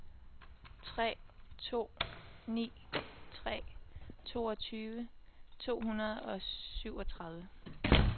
tre to ni tre toogtyve to hundrede og syvogtredive